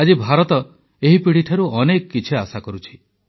ଆଜି ଭାରତ ଏହି ପିଢ଼ିଠାରୁ ଅନେକ କିଛି ଆଶା କରୁଛି